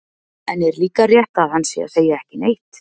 En er líka rétt að hann sé að segja ekki neitt?